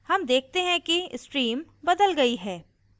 हम देखते हैं कि stream बदल गयी है